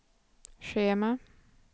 schema